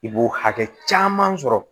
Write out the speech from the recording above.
I b'o hakɛ caman sɔrɔ